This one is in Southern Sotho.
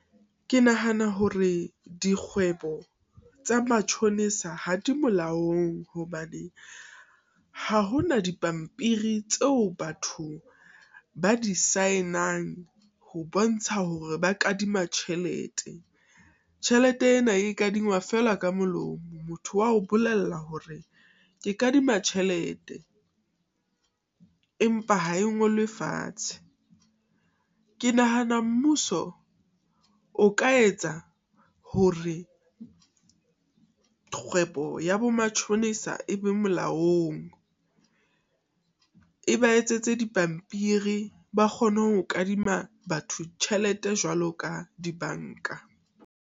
Ke nahana hore dikgwebo tsa matjhonisa ha di molaong, hobane ha hona dipampiri tseo batho ba di sign-ang ho bontsha hore ba kadima tjhelete. Tjhelete ena e kadingwa fela ka molomo motho wa o bolella hore ke kadima tjhelete, empa ha e ngolwe fatshe. Ke nahana Mmuso o ka etsa hore kgwebo ya bo matjhonisa e be molaong, e ba etsetse dipampiri ba kgone ho kadima batho tjhelete jwalo ka dibanka.